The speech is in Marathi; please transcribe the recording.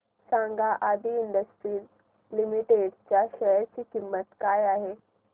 सांगा आदी इंडस्ट्रीज लिमिटेड च्या शेअर ची किंमत किती आहे